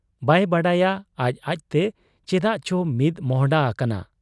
ᱵᱟᱭ ᱵᱟᱰᱟᱭᱟ ᱟᱡ ᱟᱡᱛᱮ ᱪᱮᱫᱟᱜ ᱪᱚ ᱢᱤᱫ ᱢᱚᱸᱦᱰᱟ ᱟᱠᱟᱱᱟ ᱾